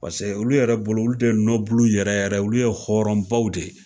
Paseke olu yɛrɛ bolo, olu de ye yɛrɛ yɛrɛ, olu ye hɔrɔnbaw de ye.